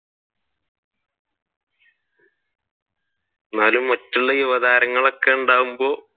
എന്നാലും മറ്റുള്ള യുവതാരങ്ങൾ ഒക്കെ ഉണ്ടാകുമ്പോൾ